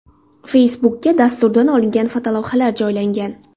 Facebook’ga dasturdan olingan fotolavhalar joylangan.